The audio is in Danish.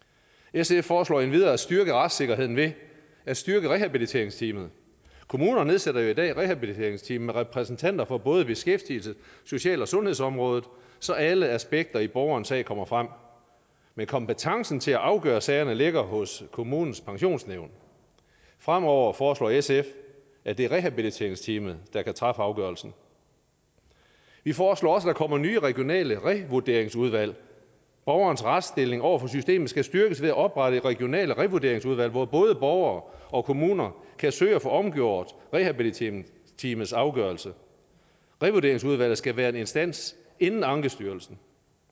sf foreslår endvidere at styrke retssikkerheden ved at styrke rehabiliteringsteamet kommunerne nedsætter jo i dag rehabiliteringsteam med repræsentanter fra både beskæftigelses social og sundhedsområdet så alle aspekter i borgerens sag kommer frem men kompetencen til at afgøre sagerne ligger hos kommunens pensionsnævn fremover foreslår sf at det er rehabiliteringsteamet der kan træffe afgørelsen vi foreslår også at der kommer nye regionale revurderingsudvalg borgerens retsstilling over for systemet skal styrkes ved at oprette regionale revurderingsudvalg hvor både borgere og kommuner kan søge at få omgjort rehabiliteringsteamets afgørelse revurderingsudvalget skal være en instans inden ankestyrelsen